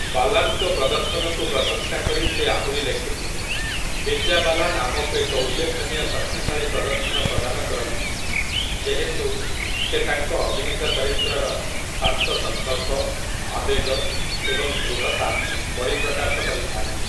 ବାଲାନ୍‌ଙ୍କ ପ୍ରଦର୍ଶନକୁ ପ୍ରଶଂସା କରି ସେ ଆହୁରି ଲେଖିଥିଲେ, ବିଦ୍ୟା ବାଲାନ୍ ଆମକୁ ଏକ ଉଲ୍ଲେଖନୀୟ ଶକ୍ତିଶାଳୀ ପ୍ରଦର୍ଶନ ପ୍ରଦାନ କରନ୍ତି, ଯେହେତୁ ସେ ତାଙ୍କ ଅଭିନୀତ ଚରିତ୍ରର ଶାନ୍ତ ସଙ୍କଳ୍ପ, ଆବେଗ ଏବଂ ଦୃଢ଼ତା ପରିପ୍ରକାଶ କରିଥାଆନ୍ତି ।